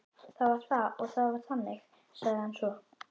Það var það og það var þannig, sagði hann svo.